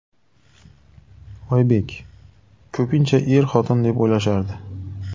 Oybek: Ko‘pincha er-xotin deb o‘ylashardi.